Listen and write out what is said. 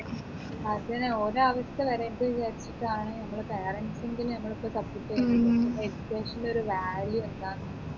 അതെ ഓരേ അവസ്ഥ വരരുത് വിചാരിച്ചിട്ടിട്ടാണ് നമ്മളെ parents എങ്കിലും നമ്മളെ ഇപ്പോ support ചെയ്യുന്നത് education ൽ ഒരു value എന്താണെന്ന്